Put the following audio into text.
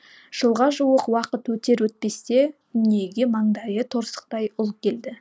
жылға жуық уақыт өтер өтпесте дүниеге маңдайы торсықтай ұл келді